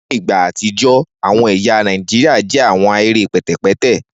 Ni igba atijọ awọn ẹya Naijiria jẹ awọn ahere pẹtẹpẹtẹ